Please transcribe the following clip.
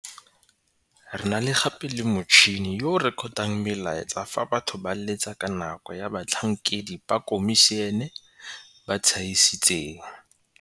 "Re na gape le motšhini yo o rekotang melaetsa fa batho ba letsa ka nako e batlhankedi ba khomišene ba tšhaisitseng,"